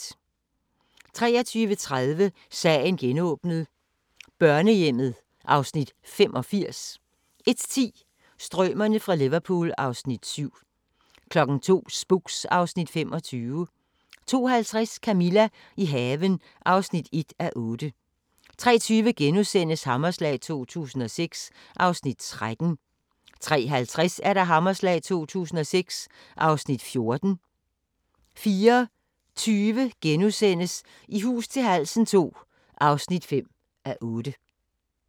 23:30: Sagen genåbnet : Børnehjemmet (Afs. 85) 01:10: Strømerne fra Liverpool (Afs. 7) 02:00: Spooks (Afs. 25) 02:50: Camilla – i haven (1:8) 03:20: Hammerslag 2006 (Afs. 13)* 03:50: Hammerslag 2006 (Afs. 14)* 04:20: I hus til halsen II (5:8)*